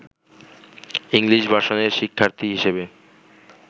English ভার্সনের শিক্ষার্থী হিসেবে